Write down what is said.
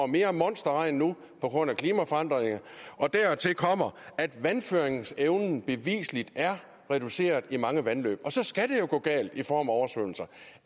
mere monsterregn nu på grund af klimaforandringerne dertil kommer at vandføringsevnen beviseligt er reduceret i mange vandløb og så skal det jo gå galt i form af oversvømmelser